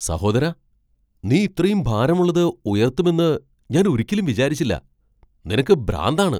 സഹോദരാ! നീ ഇത്രയും ഭാരമുള്ളത് ഉയർത്തുമെന്ന് ഞാൻ ഒരിക്കലും വിചാരിച്ചില്ല , നിനക്ക് ഭ്രാന്താണ്! !